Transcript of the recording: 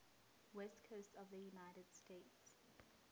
west coast of the united states